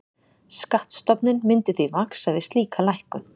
Skattstofninn myndi því vaxa við slíka lækkun.